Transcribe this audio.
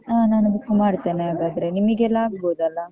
ಆ ನಾನೇ book ಮಾಡ್ತೇನೆ ಹಾಗಾದ್ರೆ ನಿಮಿಗೆಲ್ಲ ಆಗ್ಬೋದಲ್ಲ?